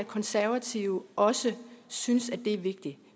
konservative også synes at det er vigtigt